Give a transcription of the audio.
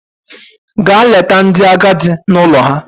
Gaa leta ndị agadi n'ụlọ ha!